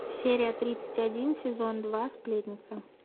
серия тридцать один сезон два сплетница